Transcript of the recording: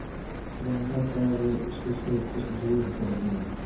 गनीमत है वे उससे कुछ दूरी पर गिरीं